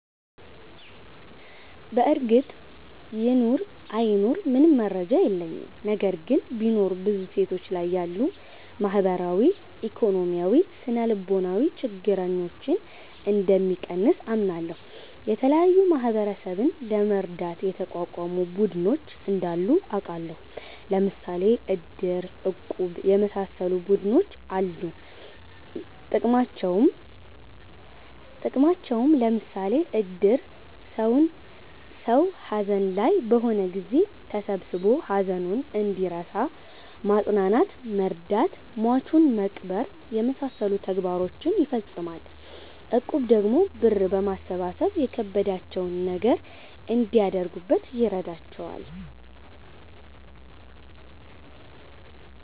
በርግጥ ይኑር አይኑር ምንም መረጃ የለኝም። ነገር ግን ቢኖር ብዙ ሴቶች ላይ ያሉ ማህበራዊ፣ ኢኮኖሚያዊ፣ ስነልቦናዊ ችግረኞን እንደሚቀንስ አምናለሁ። የተለያዩ ማህበረሰብን ለመርዳት የተቋቋሙ ቡድኖች እንዳሉ አቃለሁ። ለምሣሌ እድር፣ እቁብ የመሣሠሉ ቡድኖች አሉ ጥቅማቸውም ለምሳሌ እድር ሠው ሀዘን ላይ በሆነ ጊዜ ተሠብስቦ ሀዘኑን እንዲረሣ ማፅናናት መርዳት ሟቹን መቅበር የመሣሠሉ ተግባሮችን ይፈፅማል። እቁብ ደግሞ ብር በማሠባሠብ የከበዳቸውን ነገር እንዲያደርጉበት ይረዳቸዋል።